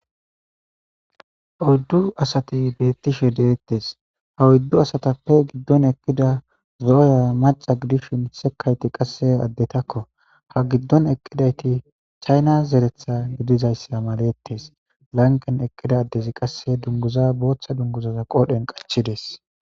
Oyddu asati beettishe deettes ha uddu asatappe giddon ekkida zooya maca gidish misekayti qasse addetakko ha giddon eqqidayti chayna zeretha gidizayssa malettes lanqen eqqida addezi qasse dunguza booththa dunguzaza qoodhen qachides.